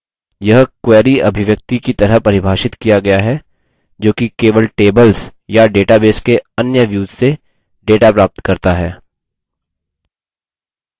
यह query अभिव्यक्ति की तरह परिभाषित किया गया है जोकि केवल tables या database के अन्य views से data प्राप्त करता है